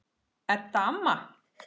Edda amma.